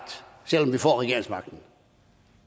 selv om vi får regeringsmagten